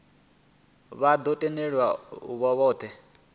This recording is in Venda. vha ḓo tendelwa u voutha